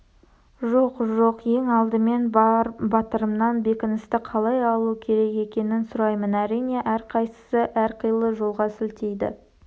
жоқ жоқ ең алдымен бар батырымнан бекіністі қалай алу керек екенін сұраймын әрине әрқайсысы әрқилы жолға сілтейді